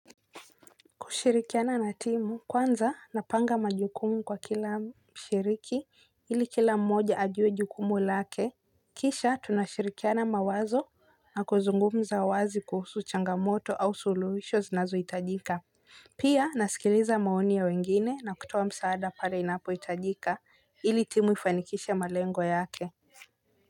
Kushirikiana na timu kwanza napanga majukumu kwa kila mshiriki ili kila mmoja ajuwe jukumu lake. Kisha tunashirikiana mawazo na kuzungumza wazi kuhusu changamoto au suluhisho zinazo itajika. Pia nasikiliza maoni ya wengine na kutoa msaada pale inapo itajika ili timu ifanikishe malengo yake.